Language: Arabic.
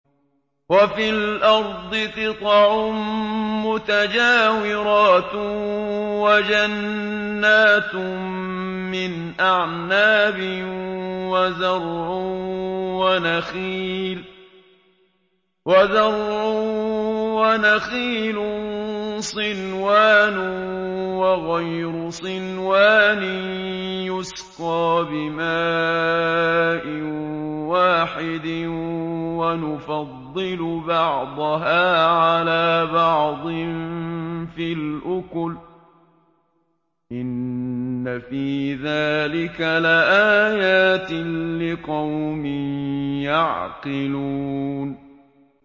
وَفِي الْأَرْضِ قِطَعٌ مُّتَجَاوِرَاتٌ وَجَنَّاتٌ مِّنْ أَعْنَابٍ وَزَرْعٌ وَنَخِيلٌ صِنْوَانٌ وَغَيْرُ صِنْوَانٍ يُسْقَىٰ بِمَاءٍ وَاحِدٍ وَنُفَضِّلُ بَعْضَهَا عَلَىٰ بَعْضٍ فِي الْأُكُلِ ۚ إِنَّ فِي ذَٰلِكَ لَآيَاتٍ لِّقَوْمٍ يَعْقِلُونَ